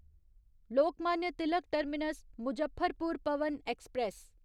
Lokmanya Tilak terminus Muzaffarpur Pawan express